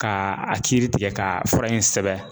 Ka a kiiri tigɛ k'a fara in sɛbɛn